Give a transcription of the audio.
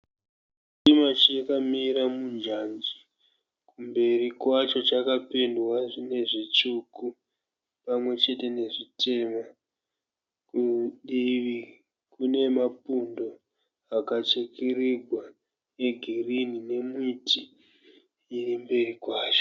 Chitima chakamira munjanji. Mberi kwacho chakapendwa nezvitsvuku pamwechete nezvitema. Kudivi kune mapundo akachekererwa egirini nemiti iri mberi kwacho.